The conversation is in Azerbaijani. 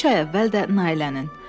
Üç ay əvvəl də Nailənin.